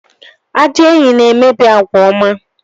Ajọ enyi na-emebi àgwà ọma